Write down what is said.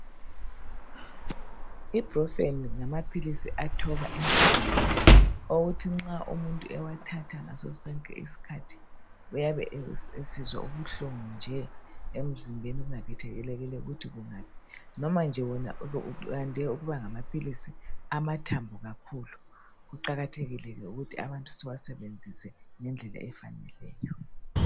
Ibrufen ngamaphilisi athoba inhlungu, okuthi nxa umuntu ewathatha ngaso sonke isikhathi uyabe esizwa ubuhlungu nje emzimbeni kungakhethelekile ukuthi kungaphi. Noma nje wona uyande ukuba ngamaphilisi amathambo kakhulu. Kuqakathekile ke ukuthi abantu siwasebenzise ngendlela efaneleyo.